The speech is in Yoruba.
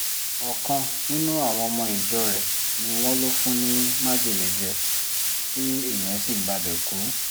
ọ̀kan nínú àwọn ọmọ ìjọ rẹ̀ ni wọ́n lò fún ní májèlé jẹ tí ìyẹn sì gbabẹ̀ kú